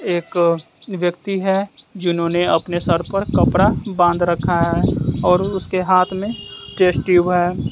एक व्यक्ति हैं जिन्होंने अपने सर पर कपरा बाॅंध रखा है और उसके हाथ में टेस्ट ट्यूब हैं।